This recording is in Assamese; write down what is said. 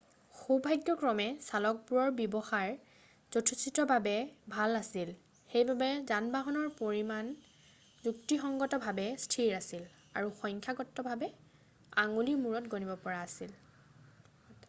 সৌভাগ্যক্ৰমে চালকবোৰৰ ব্যৱহাৰ যথোচিতভাৱে ভাল আছিল সেইবাবে যানবাহনৰ পৰিমাণ যুক্তিসংগতভাৱে স্থিৰ আছিল আৰু সংখ্যাগতভাৱে আঙুলিৰ মুৰত গণিব পৰা আছিল